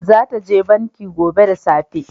Za ta je banki gobe da safe